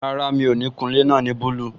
Rárá, mi ò ní kun ilé náà ní búlù